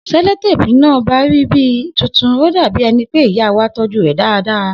Seloteepu iná ọba rí bíi tuntun ó dàbí ẹni pé ìyáwa tọ́jú rè dáradára